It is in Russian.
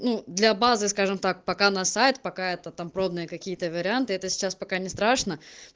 ну для базы скажем так пока на сайт пока это там пробные какие-то варианты это сейчас пока не страшно